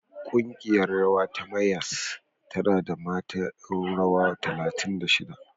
Ƙungiyar rawa ta Mayyas tana da mata ƴan rawa talatin da shida.